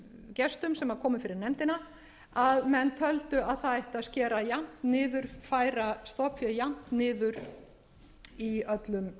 hjágestum sem komu fyrir nefndina að menn töldu að það ætti að skera jafnt niður færa stofnféð jafnt niður í öllum